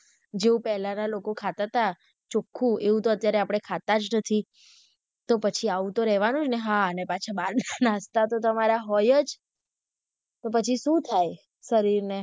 જો પહેલાના લોકો ખાતા તા ચોખ્ખું એવું તો અત્યારે આપડે ખાતા જ નથી તો પછી આવું તો રહેવાનું જ ને હા, અને પછી બહાર ના નાસ્તા તો તમારા હોય જ તો પછી સુ થાય શરીર ને.